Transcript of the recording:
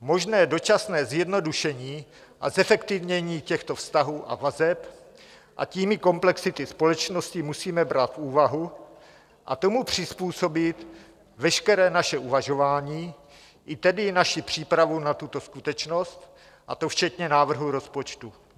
Možné dočasné zjednodušení a zefektivnění těchto vztahů a vazeb, a tím i komplexity společnosti, musíme brát v úvahu a tomu přizpůsobit veškeré naše uvažování, i tedy naši přípravu na tuto skutečnost, a to včetně návrhu rozpočtu.